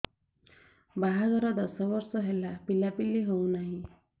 ବାହାଘର ଦଶ ବର୍ଷ ହେଲା ପିଲାପିଲି ହଉନାହି